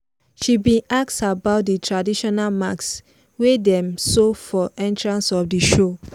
she bin ask about di traditional mask wey dem show for entrance of the show.